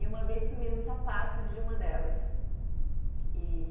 E uma vez sumiu o sapato de uma delas. E